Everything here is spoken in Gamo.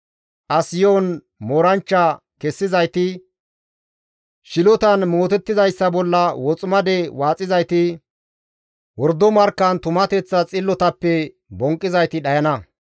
As yo7on mooranchcha kessizayti, shilotan mootettizayssa bolla woximade waaxizayti, wordo markkan tumateththa xillotappe bonqqizayti dhayana.